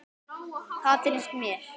Það finnst mér.